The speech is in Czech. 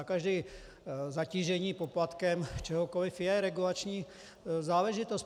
A každé zatížení poplatkem čehokoli je regulační záležitost.